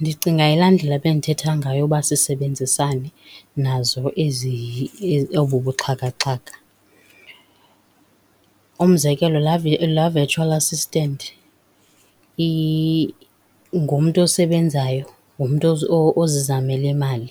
Ndicinga yilaa ndlela bendithetha ngayo uba sisebenzisane nazo ezi obu buxhakaxhaka. Umzekelo, laa laa virtual assistant ngumntu osebenzayo, ngumntu ozizamela imali,